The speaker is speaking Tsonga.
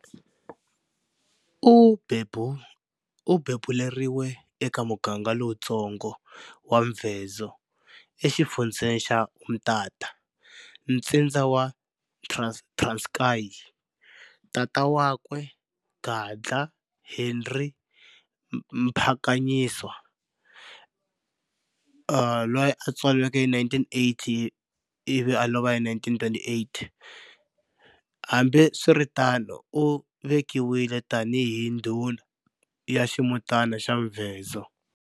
U bebuleriwe eka muganga lowutsonga wa Mvezo e xifundzeni xa Umtata, Nstindza wa Transkayi. Tata wa kwe, Gadla Henry Mphakanyiswa,1880-1928, hambiswiritano u vekiwile tani hi ndhuna ya ximutana xa Mvezo.